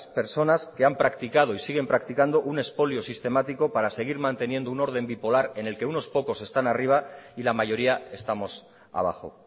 personas que han practicado y siguen practicando un expolio sistemático para seguir manteniendo un orden bipolar en el que unos pocos están arriba y la mayoría estamos abajo